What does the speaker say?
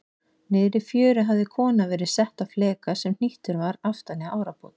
Niðri í fjöru hafði kona verið sett á fleka sem hnýttur var aftan í árabát.